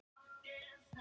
Og ekki stóð á þér.